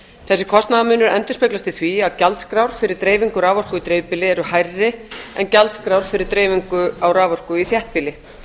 þessi kostnaðarmunur endurspeglast í því að gjaldskrár fyrir dreifingu raforku í dreifbýli eru hærri en gjaldskrár fyrir dreifingu á raforku í þéttbýli